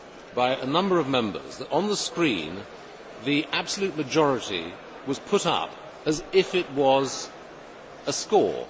by a number of Members that on the screen, the absolute majority was put up as if it were a score.